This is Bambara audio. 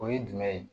O ye jumɛn ye